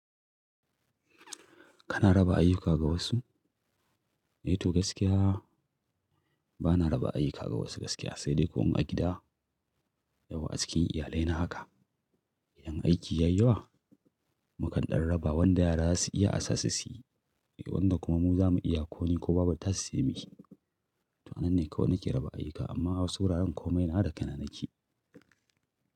Kana raba ayyuka ga wasu? Eh to gaskiya bana raba ayyuka ga wasu gaskiya, sai dai ko in a gida yawwa acikin iyalai na haka. Idan aiki ya yi yawa, mu kan ɗan raba wanda yara za su iya a sa su suyi, wanda kuma mu za mu iya ko ni ko babattasu sai muyi. To anan ne kawai nake raba ayyuka amma wasu wuraren komai nawa da kaina nakeyi.